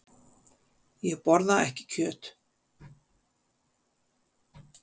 Ég borða ekki kjöt.